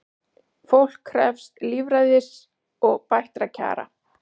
Fólk krefst lýðræðis og bættra kjara